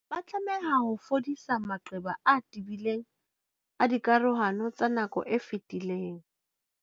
Ba tlameha ho fodisa maqeba a tebileng a dikarohano tsa nako e fetileng.